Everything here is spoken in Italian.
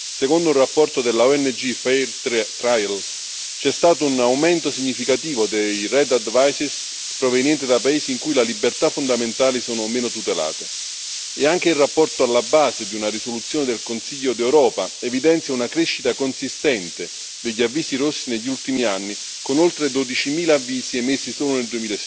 Secondo un rapporto della ONG Fair Trials c'è stato un aumento significativo degli avvisi rossi provenienti da paesi in cui le libertà fondamentali sono meno tutelate e anche in rapporto alla base di una risoluzione del Consiglio d'Europa evidenzia una crescita consistente degli avvisi rossi negli ultimi anni, con oltre 12000 avvisi emessi solo nel